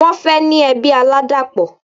Wọ́n fẹ́ ní ẹbí aládàpọ̀